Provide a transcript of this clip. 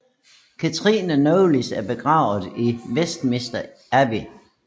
Katherine Knollys er begravet i Westminster Abbey